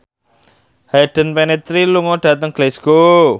Hayden Panettiere lunga dhateng Glasgow